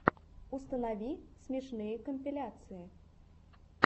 установи смешные компиляции